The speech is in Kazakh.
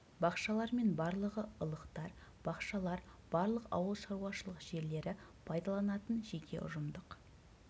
бақшалар мен барлығы ылықтар бақшалар барлық ауылшаруашылық жерлері пайдаланатын жеке ұжымдық